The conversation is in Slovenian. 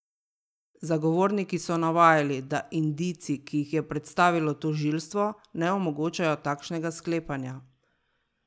Zagovorniki so navajali, da indici, ki jih je predstavilo tožilstvo, ne omogočajo takšnega sklepanja.